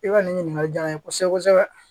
I ka nin ɲininkali diyara n ye kosɛbɛ kosɛbɛ